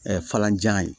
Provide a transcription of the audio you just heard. falanjan ye